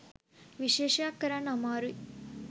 විශේෂයක්‌ කරන්න අමාරුයි.